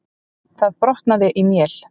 Það brotnaði í mél.